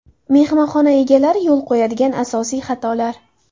Mehmonxona egalari yo‘l qo‘yadigan asosiy xatolar.